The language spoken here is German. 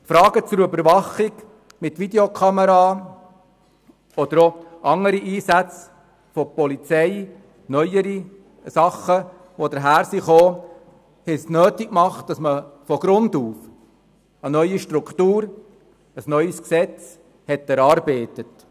Fragen zur Überwachung mit Videokameras oder auch andere, neuere Einsatzformen der Polizei haben es nötig gemacht, von Grund auf eine neue Struktur, ein neues Gesetz zu erarbeiten.